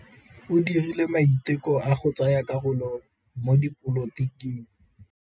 O dirile maitekô a go tsaya karolo mo dipolotiking.